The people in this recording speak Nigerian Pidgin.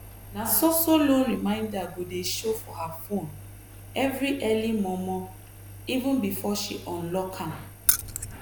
na so so loan reminder go dey show for her phone every early mormoreven before she unlock am.